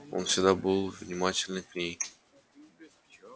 он всегда был безупречно внимателен к ней